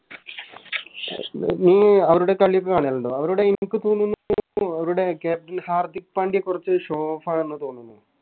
നീ അവരുടെ കളി ഒക്കെ കാണലിണ്ടോ അവരുടെ എനിക്ക് തോന്നുന്നു അവരുടെ Captain ഹർദിക് പാണ്ട്യ കൊറച്ച് Show off ആണെന്ന് തോന്നുന്നു